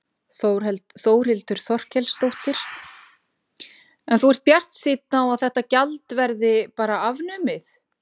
Þórhildur Þorkelsdóttir: En þú ert bjartsýnn á að þetta gjald verði bara afnumið?